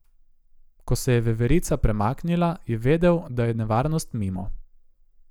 Ko se je veverica premaknila, je vedel, da je nevarnost mimo.